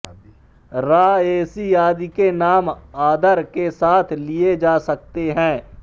रा ए सी आदि के नाम आदर के साथ लिए जा सकते हैं